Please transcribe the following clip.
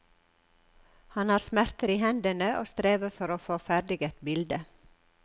Han har smerter i hendene og strever for å få ferdig et bilde.